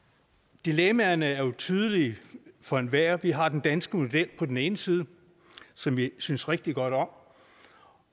dilemmaerne er tydelige for enhver vi har den danske model på den ene side som vi synes rigtig godt om